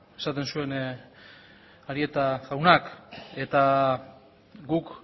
esaten zuen arieta jaunak eta guk